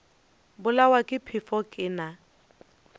bolawa ke phefo ke na